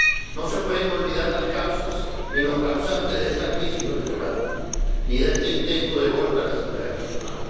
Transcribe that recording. No se pueden olvidar las causas ni los causantes de esta crisis venezolana, ni de este intento de golpe a la Asamblea Nacional.